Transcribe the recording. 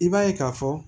I b'a ye ka fɔ